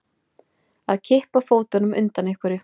Að kippa fótunum undan einhverju